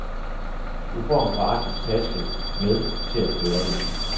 Du får en gratis taske med til at bære det i.